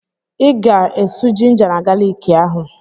Ị ga-esù jinja na galiki ahụ!